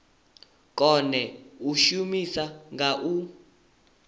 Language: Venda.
kone u shuma nga u